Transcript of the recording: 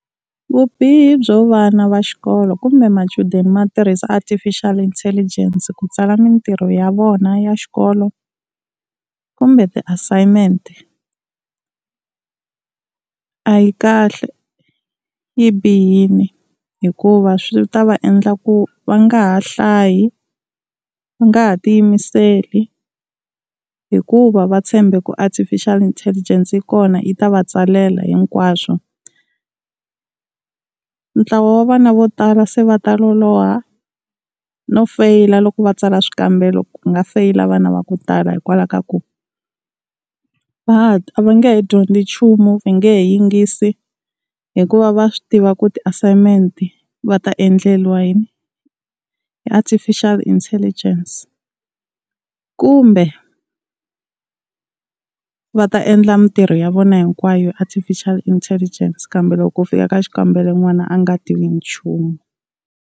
Vubihi byo vana va xikolo kumbe machudeni ma tirhisa Artificial Intelligence ku tsala mintirho ya vona ya xikolo kumbe ti-assignment-e a yi kahle yi bihile. Hikuva swi ta va endla ku va nga ha hlayi, va nga ha ti yimiseli hikuva va tshembe ku Artificial Intelligence yi kona yi ta va tsalela hinkwaswo. Ntlawa wa vana vo tala se va ta loloha no feyila loko va tsala swikambelo, ku nga feyila vana va ku tala hikwalaho ka ku a va nge he dyondzi nchumu va nge he yingisi hikuva va swi tiva ku ti-assignment-e va ta endleriwa yini hi Artificial Intelligence. Kumbe va ta endla mintirho ya vona hinkwayo Artificial Intelligence kambe loko ku fika ka xikambelo n'wana a nga tivi nchumu.